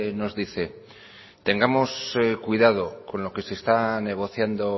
nos dice que tengamos cuidado con lo que se está negociando